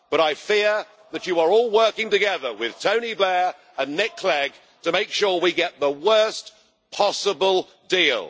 But I fear that you are all working together with Tony Blair and Nick Clegg to make sure we get the worst possible deal.